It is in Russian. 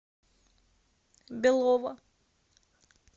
белова